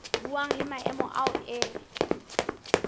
buang le maemo ao e